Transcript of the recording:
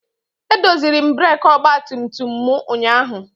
Edoziri m breekị ọgbatumtum m. ụnyaahụ